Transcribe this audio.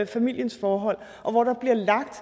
familiens forhold og hvor der bliver lagt